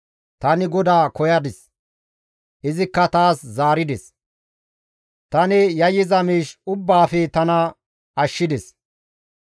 Tani GODAA koyadis; izikka taas zaarides; tani yayyiza miish ubbaafe tana ashshides.